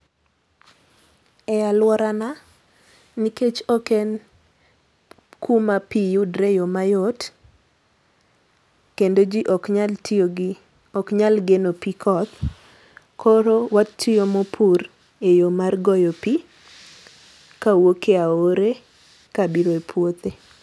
E aluora na, nikech ok en kuma pii yudre eyo mayot, kendo jii ok nyal tiyo gi ok nyal geno pii koth, koro pur e yoo mar goyo pii kawuok e aore kabiro e puothe.